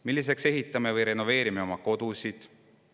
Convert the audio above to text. Milliseks me ehitame või renoveerime oma kodud?